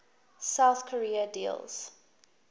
south korea deals